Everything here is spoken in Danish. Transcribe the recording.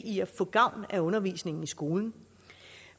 i at få gavn af undervisningen i skolen